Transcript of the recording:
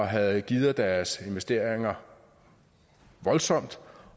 havde gearet deres investeringer voldsomt